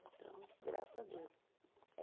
Então, graças a Deus.